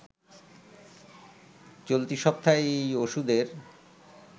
চলতি সপ্তাহেই এই ওষুধের